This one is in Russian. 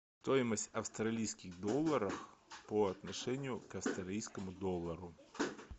стоимость австралийских долларов по отношению к австралийскому доллару